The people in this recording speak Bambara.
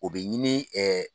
O bɛ ɲini ɛ